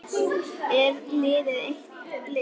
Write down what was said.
Er liðið eitt lið?